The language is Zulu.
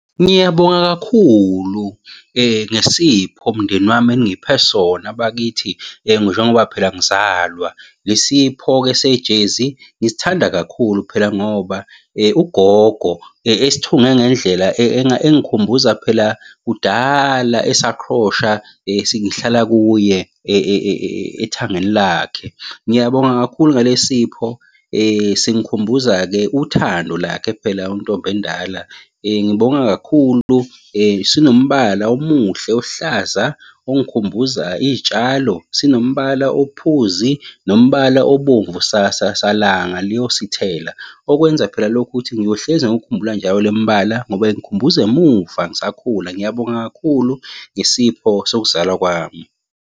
Ngiyabonga kakhulu ngesipho mndeni wami eningiphe sona abakithi njengoba phela ngizalwa. Le sipho-ke sejezi, ngisithanda kakhulu phela ngoba ugogo esithunge ngendlela engikhumbuza phela kudala esakhrosha singihlala kuye ethangeni lakhe. Ngiyabonga kakhulu ngale sipho singikhumbuza-ke uthando lakhe phela untombi endala. Ngibonge kakhulu sinombala omuhle ohlaza ongikhumbuza iy'tshalo, sinombala ophuzi, nombala obomvu salanga liyosithela. Okwenza phela lokhu ukuthi ngiyohlezi ngiwukhumbula njalo le mbala ngoba ingikhumbuza emuva ngisakhula. Ngiyabonga kakhulu nesipho sokuzalwa kwami.